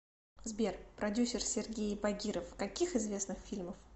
сбер продюсер сергеи багиров каких известных фильмов